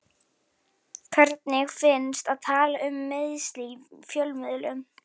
Hvernig finnst að tala um meiðsli í fjölmiðlum?